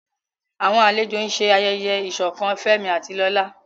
Àwọn àlejò ń ṣe ayẹyẹ ìṣọ̀kan Fẹ́mi àti Lola.